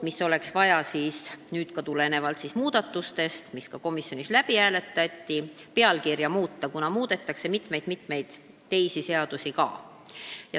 Ja nüüd olekski vaja – ka tulenevalt nendest muudatustest, mis komisjonis läbi hääletati – muuta eelnõu pealkirja, kuna muudetakse ka mitut teist seadust.